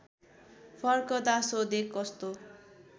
फर्कँदा सोधे कस्तो